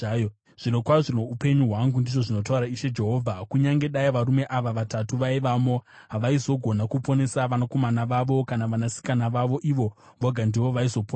zvirokwazvo noupenyu hwangu, ndizvo zvinotaura Ishe Jehovha, kunyange dai varume ava vatatu vaivamo, havaizogona kuponesa vanakomana vavo kana vanasikana vavo. Ivo voga ndivo vaizoponeswa.